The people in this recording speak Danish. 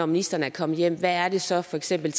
ministeren er kommet hjem hvad er det så for eksempel